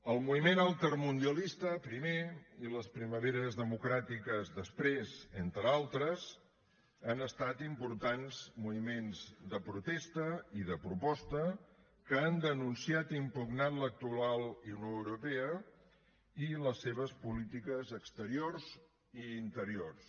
el moviment altermundialista primer i les primaveres democràtiques després entre altres han estat importants moviments de protesta i de proposta que han denunciat i impugnat l’actual unió europea i les seves polítiques exteriors i interiors